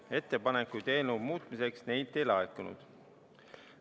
Ettepanekuid eelnõu muutmiseks neilt ei laekunud.